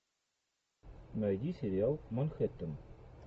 найди сериал манхэттен